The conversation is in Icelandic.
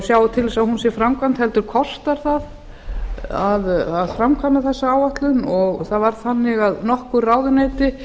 sjái til þess að hún sé framkvæmd heldur kostar það að framkvæma þessa áætlun það var þannig að nokkur ráðuneyti